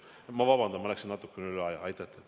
Ma palun vabandust, läksin natukene üle aja!